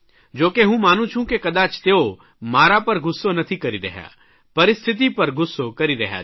જો કે હું માનું છું કે કદાચ તેઓ મારા ઉપર ગુસ્સો નથી કરી રહ્યા પરિસ્થિતિ પર ગુસ્સો કરી રહ્યા છે